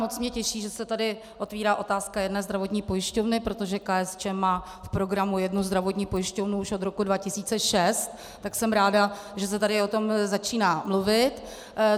Moc mě těší, že se tady otevírá otázka jedné zdravotní pojišťovny, protože KSČM má v programu jednu zdravotní pojišťovnu už od roku 2006, tak jsem ráda, že se tady o tom začíná mluvit.